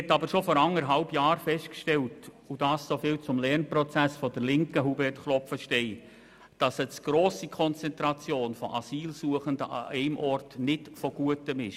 Man hat aber bereits vor anderthalb Jahren festgestellt – soviel zum Lernprozess der Linken, Hubert Klopfenstein –, dass eine zu grosse Konzentration von Asylsuchenden an einem Standort nicht so gut ist.